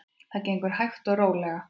Þetta gengur hægt og rólega.